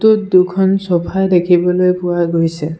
টোত দুখন ছ'ফা দেখিবলৈ পোৱা গৈছে।